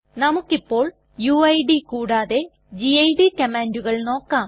നമുക്കിപോൾ UID കൂടാതെ GID കമ്മാണ്ടുകൾ നോക്കാം